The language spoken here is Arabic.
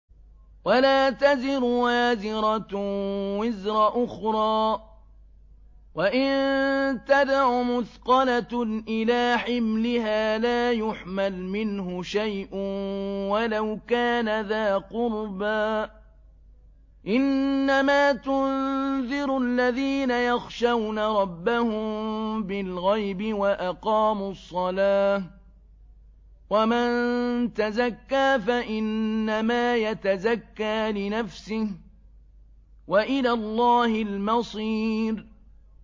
وَلَا تَزِرُ وَازِرَةٌ وِزْرَ أُخْرَىٰ ۚ وَإِن تَدْعُ مُثْقَلَةٌ إِلَىٰ حِمْلِهَا لَا يُحْمَلْ مِنْهُ شَيْءٌ وَلَوْ كَانَ ذَا قُرْبَىٰ ۗ إِنَّمَا تُنذِرُ الَّذِينَ يَخْشَوْنَ رَبَّهُم بِالْغَيْبِ وَأَقَامُوا الصَّلَاةَ ۚ وَمَن تَزَكَّىٰ فَإِنَّمَا يَتَزَكَّىٰ لِنَفْسِهِ ۚ وَإِلَى اللَّهِ الْمَصِيرُ